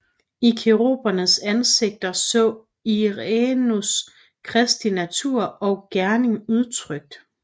I kerubernes ansigter så Irenæus Kristi natur og gerning udtrykt